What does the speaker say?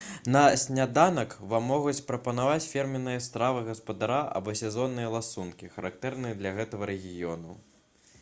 на сняданак вам могуць прапанаваць фірменныя стравы гаспадара або сезонныя ласункі характэрныя для гэтага рэгіёну